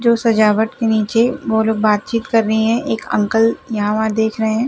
जो सजावट के निचे वो लोग बातचीत कर रही है एक अंकल यहाँ-वहां देख रहे है।